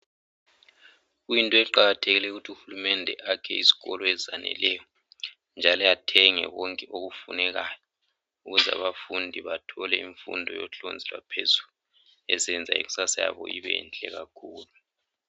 Kuyinto eqakathelileyo ukuthi uhulumede ayakhe izikolo ezaneleyo njalo athenge konke okufunekayo ukuze abafundi bathole imfundo yohlonzi lwa phezulu ezenza ikusasa yabo ibenhle kakhulu